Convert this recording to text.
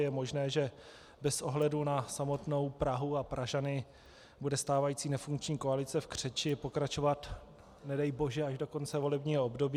Je možné, že bez ohledu na samotnou Prahu a Pražany bude stávající nefunkční koalice v křeči pokračovat, nedej bože až do konce volebního období.